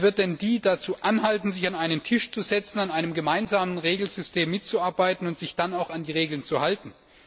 Wer wird diese Länder dazu anhalten, sich an einen Tisch zu setzen, an einem gemeinsamen Regelsystem mitzuarbeiten und sich dann auch an die Regeln zu halten?